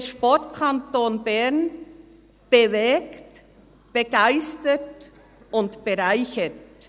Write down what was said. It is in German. Der Sportkanton Bern BEwegt – BEgeistert – BEreichert.